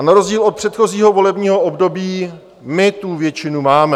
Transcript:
A na rozdíl od předchozího volebního období my tu většinu máme.